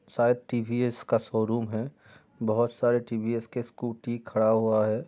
सायद टी_वी_एस का शोरूम है बहुत सारे टी_वी_एस के स्कूटी खड़ा हुआ है।